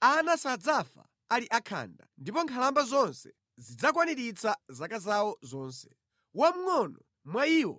“Ana sadzafa ali akhanda ndipo nkhalamba zonse zidzakwaniritsa zaka zawo zonse. Wamngʼono mwa iwo